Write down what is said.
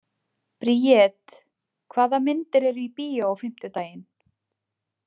Briet, hvaða myndir eru í bíó á fimmtudaginn?